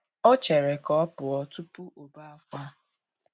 O chere ka ọ pụọ tụpụ ọbe akwa.